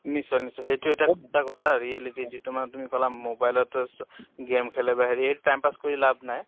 নিশ্চয় নিশ্চয় । সেইটো এটা সঁচা কথা reality যিটো মা তুমি কলা mobile ত চ game খেলে বা হেৰি সেইটো time pass কৰি লাভ নাই